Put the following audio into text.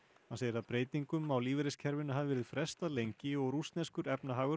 hann segir að breytingum á lífeyriskerfinu hafi verið frestað lengi og rússneskur efnahagur